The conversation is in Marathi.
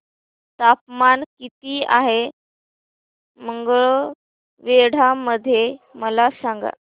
तापमान किती आहे मंगळवेढा मध्ये मला सांगा